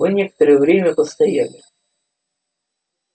мы некоторое время постояли